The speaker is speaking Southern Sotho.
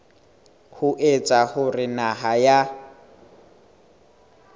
ho etsa hore naha ya